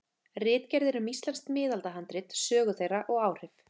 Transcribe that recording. Ritgerðir um íslensk miðaldahandrit, sögu þeirra og áhrif.